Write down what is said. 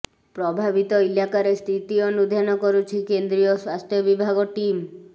ପ୍ରଭାବିତ ଇଲାକାରେ ସ୍ଥିତି ଅନୁଧ୍ୟାନ କରୁଛି କେନ୍ଦ୍ରୀୟ ସ୍ବାସ୍ଥ୍ୟ ବିଭାଗ ଟିମ୍